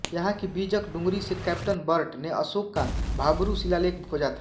यहाँ की बीजक डूँगरी से कैप्टन बर्ट ने अशोक का भाब्रू शिलालेख खोजा था